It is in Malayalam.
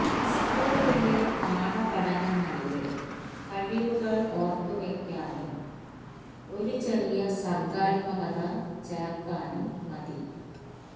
സ്കൂളിലെ പാഠപഠനങ്ങളിലെ കഴിവുകൾ ഓർത്തുവയ്ക്കാനും ഒരു ചെറിയ സർഗ്ഗാത്മകത ചേർക്കാനും മതി